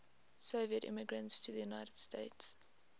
soviet immigrants to the united states